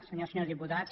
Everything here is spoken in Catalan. senyores i senyors diputats